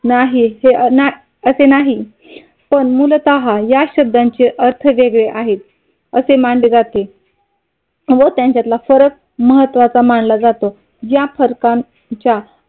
नाही हे असे नाही पण मुलता या शब्दाचे अर्थ वेगळे आहेत. असे मानले जाते व त्यांच्यातला फरक महत्त्वाचा मानला जातो. या फरकांच्या